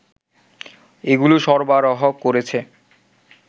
এগুলো সরবরাহ করেছে